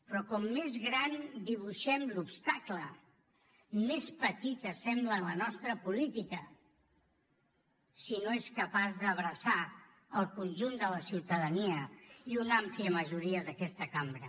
però com més gran dibuixem l’obstacle més petita sembla la nostra política si no és capaç d’abraçar el conjunt de la ciutadania i una àmplia majoria d’aquesta cambra